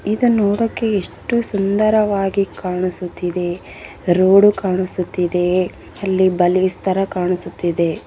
ಇದು ನೋಡೋಕೆ ಎಷ್ಟು ಸುಂದರವಾಗಿ ಕಾಣಿಸುತ್ತಾ ಇದೆ ರೋಡ್‌ ಕಾಣಿಸ್ತಾ ಇದೆ ಅಲ್ಲಿ ಬಲೇಜ್‌ ತರ ಕಾಣಿಸ್ತಾ ಇದೆ.